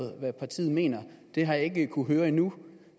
partiet mener det har jeg ikke kunnet høre endnu